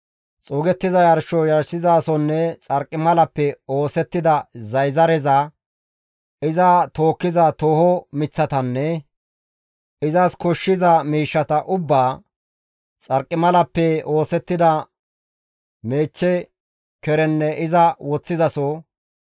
xuugettiza yarsho yarshizasonne xarqimalappe oosettida zayzareza, iza tookkiza tooho miththatanne izas koshshiza miishshata ubbaa, xarqimalappe oosettida meechcha kerenne iza woththizaso,